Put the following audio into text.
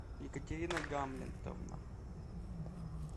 екатерина гамлетовна